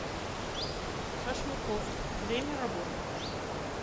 шашлыкоф время работы